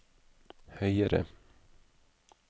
høyere